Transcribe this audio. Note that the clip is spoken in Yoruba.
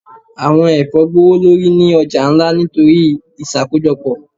Awọn ẹfọ gbowolori ni ọja nla nitori iṣakojọpọ.